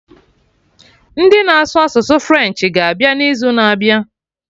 Ndị na-asụ asụsụ French ga-abịa n'izu na-abịa